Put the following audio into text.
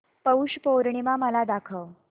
पौष पौर्णिमा मला दाखव